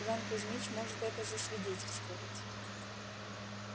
иван кузмич может это засвидетельствовать